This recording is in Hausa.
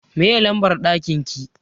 Me lambar ɗakin ki?